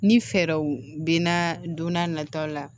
Ni fɛɛrɛw bɛ na don n'a nataw la